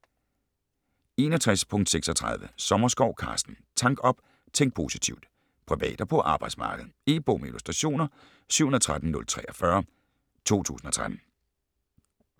61.36 Sommerskov, Carsten: Tank op - tænk positivt Privat og på arbejdet. E-bog med illustrationer 713043 2013.